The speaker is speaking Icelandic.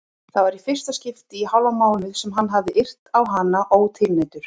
Það var í fyrsta skipti í hálfan mánuð sem hann hafði yrt á hana ótilneyddur.